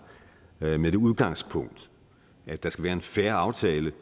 med det udgangspunkt at der skal være en fair aftale